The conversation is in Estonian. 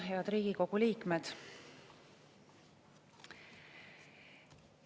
Head Riigikogu liikmed!